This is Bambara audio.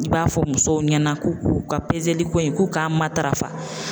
I b'a fɔ musow ɲɛna ko u ka peseli ko in k'u k'a matarafa.